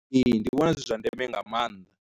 Ee, ndi vhona zwi zwa ndeme nga maanḓa.